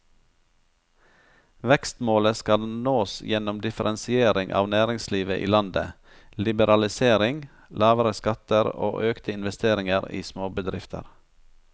Vekstmålet skal nås gjennom differensiering av næringslivet i landet, liberalisering, lavere skatter og økte investeringer i småbedrifter.